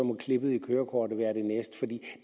må klippet i kørekortet være det næste det